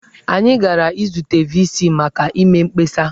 Anyị gara izute VC maka ịme mkpesa.